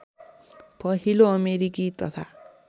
पहिलो अमेरिकी तथा